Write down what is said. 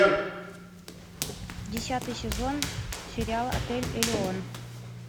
десятый сезон сериал отель элеон